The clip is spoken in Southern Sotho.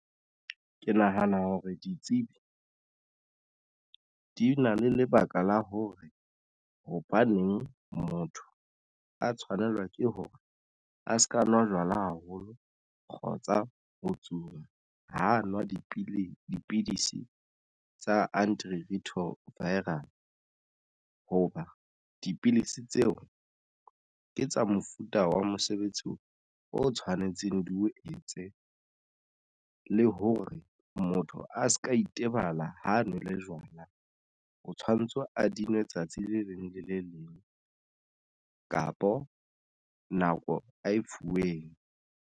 Ke nahana hore ditsebi di na le lebaka la hore hobaneng motho a tshwanelwa ke hore a se ka nwa jwala haholo kgotsa ho tsuwa ho nwa dipidisi, dipidisi tsa anti retroviral hoba dipilisi tseo ke tsa mofuta wa mosebetsi o o tshwanetseng di o etse le hore motho a se ka itebala ha nwele jwala, o tshwanetse a di nwe tsatsi le leng le le leng kapo nako a e fuweng.